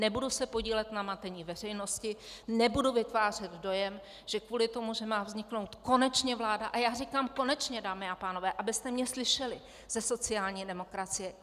Nebudu se podílet na matení veřejnosti, nebudu vytvářet dojem, že kvůli tomu, že má vzniknout konečně vláda - a já říkám konečně, dámy a pánové, abyste mě slyšeli, ze sociální demokracie.